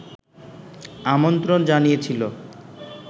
আমন্ত্রণ জানিয়েছিল